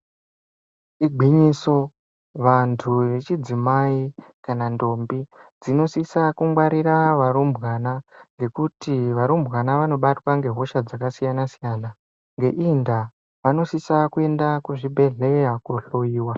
Igwinyiso, vantu vechidzimai nendombi dzinosisa kungwarira varumbwana ngekuti varumbwana vanobatwa ngehosha dzakasiyana-siyana. Ngeiyi ndaa vanosisa kuenda kuzvibhedhlera kohloyiwa.